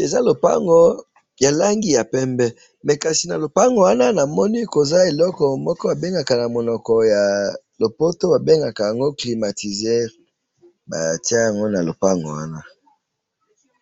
eza lopango ya langi ya pembe mais kasi na lopango wana na moni eza eloko na moko ya lopoto ba bengaka climatuseur ba tia yango na lopango wana